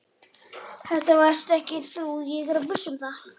Þetta varst ekki þú, ég er viss um það.